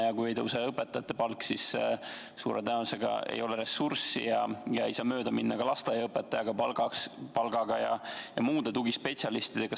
Ja kui ei tõuse õpetajate palk, siis suure tõenäosusega ei ole ressurssi ja ei saa mööda minna ka lasteaiaõpetajate ning muude tugispetsialistide palgast.